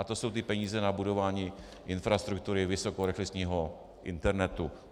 A to jsou ty peníze na budování infrastruktury vysokorychlostního internetu.